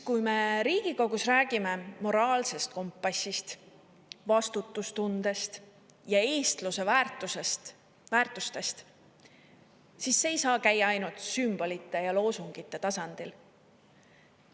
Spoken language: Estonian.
Kui me Riigikogus räägime moraalsest kompassist, vastutustundest ja eestluse väärtustest, siis see ei saa käia ainult sümbolite ja loosungite tasandil.